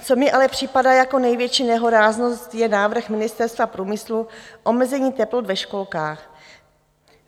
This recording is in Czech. Co mi ale připadá jako největší nehoráznost, je návrh Ministerstva průmyslu - omezení teplot ve školkách.